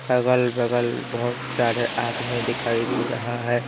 अगल-बगल बहुत सारे आदमी दिखाई दे रहा है।